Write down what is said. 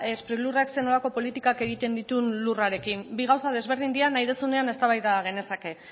sprilurrek zer nolako politika egiten ditun lurrarekin bi gauza ezberdina dira nahi duzunean eztabaida genezake